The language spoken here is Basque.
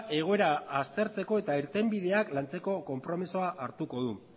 egoera aztertzeko eta irtenbideak lantzeko konpromisoa hartuko du